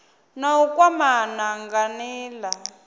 na u kwamana nga nila